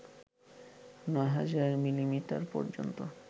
৯০০০ millimetre পর্যন্ত